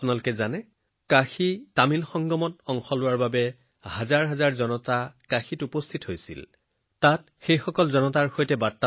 আপোনালোকে জানে যে তামিলনাডুৰ পৰা হাজাৰ হাজাৰ লোকে কাশী তামিল সংগমমত অংশগ্ৰহণ কৰিবলৈ কাশী পালেগৈ